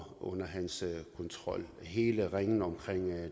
under hans kontrol hele ringen omkring